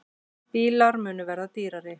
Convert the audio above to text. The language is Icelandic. Bílar munu verða dýrari